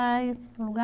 mais lugar